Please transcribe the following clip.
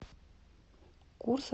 курс австралийский доллар на сегодня